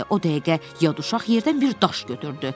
O dəqiqə yad uşaq yerdən bir daş götürdü.